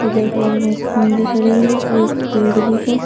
इधर साइड में एक ख़म्भे खड़े हैं और एक पेड़ भी है।